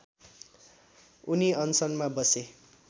उनी अनसनमा बसे